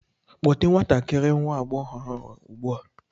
Kpọte ​​nwatakịrị nwa agbọghọ ahụ ugbu a!